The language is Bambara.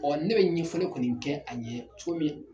Ɔɔ ne be ɲɛfɔli kɔni kɛ a ɲɛ cogo min